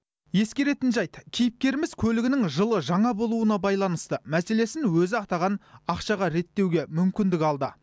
ескеретін жайт кейіпкеріміз көлігінің жылы жаңа болуына байланысты мәселесін өзі атаған ақшаға реттеуге мүмкіндік алды